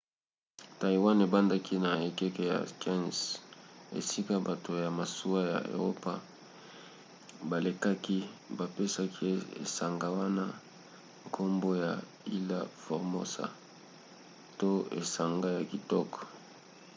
taïwan ebandaki na ekeke ya 15 esika bato ya masuwa ya eropa balekaki bapesaki esanga wana nkombo ya ilha formosa to esanga ya kitoko